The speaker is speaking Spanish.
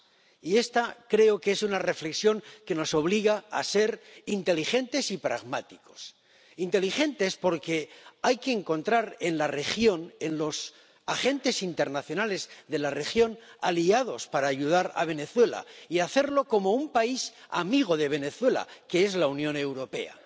Y esta creo que es una reflexión que nos obliga a ser inteligentes y pragmáticos inteligentes porque hay que encontrar en la región, en los agentes internacionales de la región, aliados para ayudar a Venezuela, y hacerlo como un país amigo de Venezuela, que es la Unión Europea